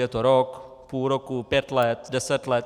Je to rok, půl roku, pět let, deset let?